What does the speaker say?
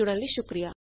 ਸਾਡੇ ਨਾਲ ਜੁੜਨ ਲਈ ਸ਼ੁਕਰੀਆ